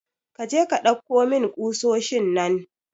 Kaje ka dauko min ƙusosin nan.